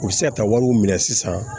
U bɛ se ka taa wariw minɛ sisan